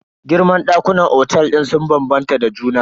Girman ɗakunan otel sun bambanta da juna.